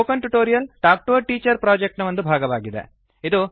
spoken tutorial talk to a teacher project ನ ಒಂದು ಭಾಗವಾಗಿದೆ